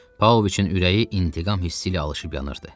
Pavloviçin ürəyi intiqam hissi ilə alışıb yanırdı.